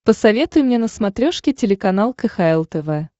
посоветуй мне на смотрешке телеканал кхл тв